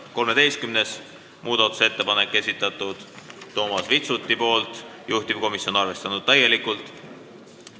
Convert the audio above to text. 13. muudatusettepaneku on esitanud Toomas Vitsut, juhtivkomisjon on täielikult arvestanud.